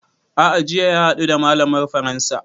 A'a jiya ya haɗu da malamar faransa